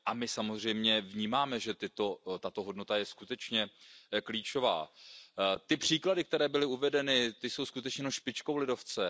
A my samozřejmě vnímáme, že tato hodnota je skutečně klíčová. Ty příklady, které byly uvedeny, jsou jenom špičkou ledovce.